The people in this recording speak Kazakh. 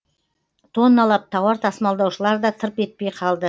тонналап тауар тасымалдаушылар да тырп етпей қалды